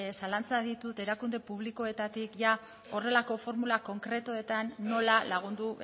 zalantzak ditut erakunde publikoetatik horrelako formula konkretuetan nola lagundu